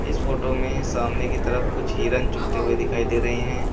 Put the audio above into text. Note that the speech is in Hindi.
इस फोटो में सामने की तरफ कुछ हिरण चुगते हुए दिखाई दे रहे हैं।